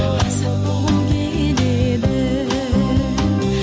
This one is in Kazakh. азат болғым келеді